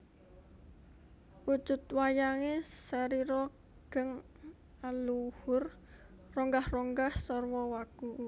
Wujud wayange sarira geng aluhur ronggah ronggah sarwa wagu